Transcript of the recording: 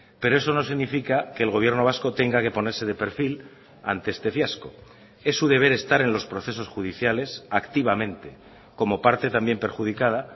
pero eso no significa que el gobierno vasco tenga que ponerse de perfil ante este fiasco es su deber estar en los procesos judiciales activamente como parte también perjudicada